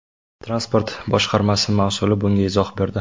Transport boshqarmasi mas’uli bunga izoh berdi.